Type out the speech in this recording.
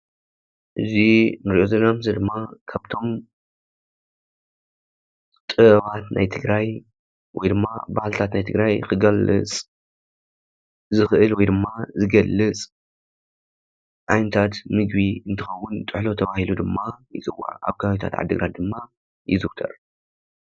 እዚ ንሪኦ ዘለና ምስሊ ድም ካብቶም ጥበባት ናይ ትግራይ ወይ ድማ ባህልታት ናይ ትግራይ ክገልፅ ዝኽእል ወይ ድማ ዝገልፅ ዓይነታት ምግቢ እንትከውን ጥሕሎ ተባሂሉ ድማ ይፅዋዕ ኣብ ከባብታት ዓዲ ግራት ድማ ይዝውተር።